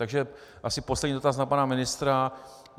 Takže asi poslední dotaz na pana ministra.